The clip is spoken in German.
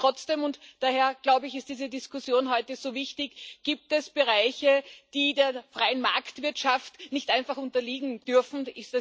Und trotzdem daher ist diese Diskussion heute so wichtig gibt es Bereiche, die der freien Marktwirtschaft nicht einfach unterliegen dürfen.